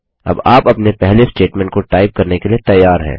अब आप अपने पहले स्टेटमेंट को टाइप करने के लिए तैयार हैं